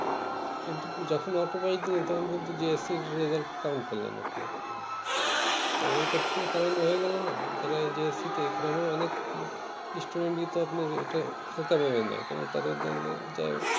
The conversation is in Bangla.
কিন্তু যত হটওকারী তুমি তখন কিন্তু autopass করলে না আপনি তাহলে এটা প্রতারণা হয়ে গেলো না যারা এই SSC টে গ্রামের অনেক result ই তো আপনার হালকা দেয় তাদের যাই হোক